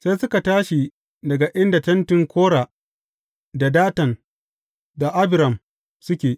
Sai suka tashi daga inda tentin Kora, da Datan, da Abiram suke.